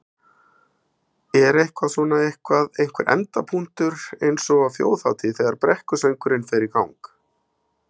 Er eitthvað svona, eitthvað, einhver endapunktur eins og á Þjóðhátíð þegar brekkusöngurinn fer í gang?